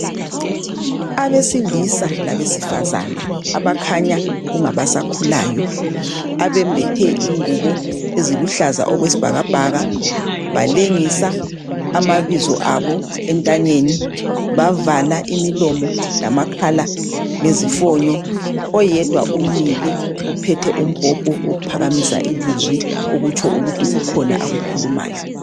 Abesilisa labesifazana abakhanya kungabasakhulayo abembethe ingubo eziluhlaza okwesibhakabhaka, balengisa amabizo abo entanyeni bavala imilomo lamakhala ngezifonyo oyedwa umile uphethe umbhobho uphakamisa ilizwi okutsho ukuthi kukhona akukhulumayo.